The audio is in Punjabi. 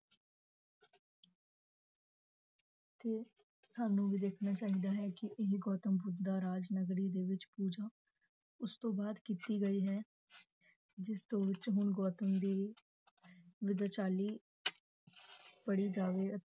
ਤੇ ਸਾਨੂੰ ਵੀ ਦੇਖਣਾ ਚਾਹਿਦਾ ਹੈ ਕੀ ਇਹ ਗੌਤਮ ਬੁਧ ਦਾ ਰਾਜ ਨਗਰੀ ਦੇ ਵਿਚ ਪੂਜਾ ਉਸ ਤੋ ਬਾਅਦ ਕੀਤੀ ਗਈ ਹੈ ਜਿਸ ਵਿਚ ਗੌਤਮ ਦੀ ਪੜੀ ਜਾਵੇ